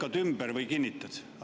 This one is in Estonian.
Lükkad ümber või kinnitad?